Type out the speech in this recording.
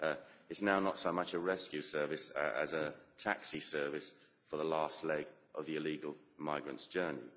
It is now not so much a rescue service as a taxi service for the last leg of the illegal migrants' journey.